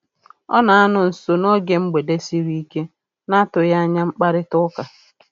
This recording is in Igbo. Ọ na-anọ nso n'oge mgbede sịrị ike na-atụghị anya mkparịtaụka